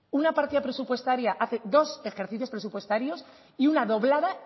una partida presupuestaria hace dos ejercicios presupuestarios y una doblada